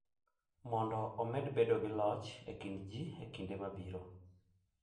Mondo omed bedo gi loch e kind ji e kinde mabiro.